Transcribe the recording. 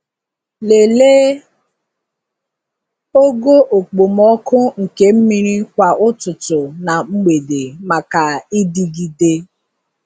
Lelee ogo okpomọkụ nke mmiri kwa ụtụtụ na mgbede maka ịdịgide.